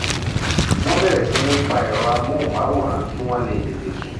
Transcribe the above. wọ́n bẹ̀rẹ̀ sí ní pa ẹ̀rọ amóhùnmáwòrán kíwọ́n le tètè sùn